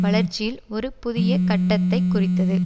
வளர்ச்சியில் ஒரு புதிய கட்டத்தைக் குறித்தது